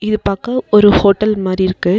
இது பாக்க ஒரு ஹோட்டல் மாரி இருக்கு.